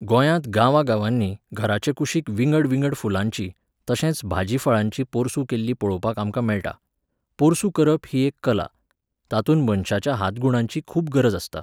गोंयांत गांवागांवांनी घराचे कुशीक विंगडविंगड फुलांचीं, तशेंच भाजी फळांचीं पोरसूं केल्लीं पळोवपाक आमकां मेळटा. पोरसूं करप ही एक कला. तातूंत मनशाच्या हातगुणांची खूब गरज आसता.